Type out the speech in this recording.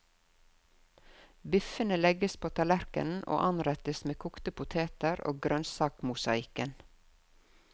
Biffene legges på tallerken og anrettes med kokte poteter og grønnsakmosaikken.